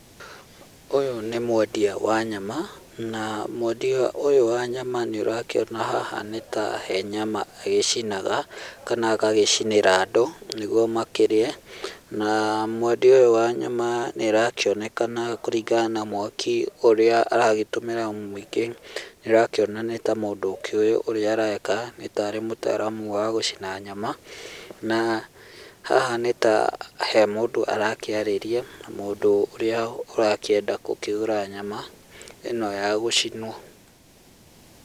Ũyũ nĩ mwendia wa nyama na mwendia ũyũ wa nyama nĩũrakĩona haha nĩta he nyama agaĩcinaga kana agagĩcinĩra andũ nĩguo makĩrĩe, na mwendia ũyũ wa nyama nĩarakakĩonekena kũringana na mwaki ũrĩa aragĩtũmĩra mũingĩ nĩũra kĩona nĩtamũndũ ũkĩoĩ ũrĩa areka nĩta arĩ mũtaaramu wa gũchina nyama na haha nĩta he mũndũ arakĩarĩria mũndũ ũrĩa ũrakĩenda gũkĩgũra nyama ĩno ya gũcinwo.